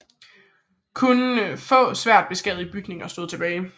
Kun få svært beskadigede bygninger stod tilbage